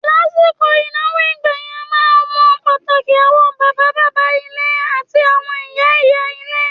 Lásìkò ìnáwó ìgbà yẹn, a máa ń mọ pàtàkì àwọn bàbá bàbá ilé àti àwọn ìyá ìyá ilé.